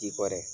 Ji kɔrɔ